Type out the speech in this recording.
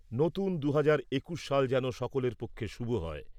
নতুন দু'হাজার একুশ সাল যেন সকলের পক্ষে শুভ হয়।